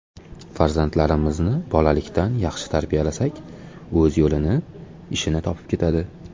Farzandlarimizni bolalikdan yaxshi tarbiyalasak, o‘z yo‘lini, ishini topib ketadi”.